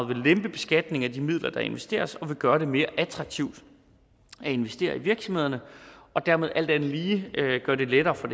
vil lempe beskatningen af de midler der investeres og vil gøre det mere attraktivt at investere i virksomhederne og dermed alt andet lige gøre det lettere for